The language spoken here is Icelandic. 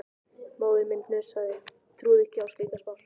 Móðir mín hnussaði, trúði ekki á slíkar spár.